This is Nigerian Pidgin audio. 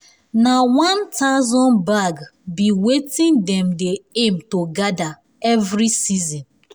na one thousand bag be wetin dem dey aim to gather every season